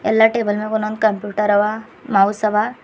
ಎಲ್ಲಾ ಟೇಬಲ್ ನಗ ಒಂದೊಂದ್ ಕಂಪ್ಯೂಟರ್ ಅವ ಮೌಸ್ ಅವ.